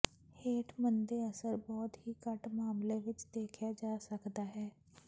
ਹੇਠ ਮੰਦੇ ਅਸਰ ਬਹੁਤ ਹੀ ਘੱਟ ਮਾਮਲੇ ਵਿਚ ਦੇਖਿਆ ਜਾ ਸਕਦਾ ਹੈ